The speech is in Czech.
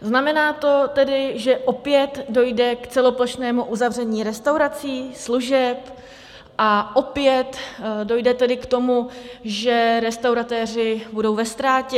Znamená to tedy, že opět dojde k celoplošnému uzavření restaurací, služeb a opět dojde tedy k tomu, že restauratéři budou ve ztrátě?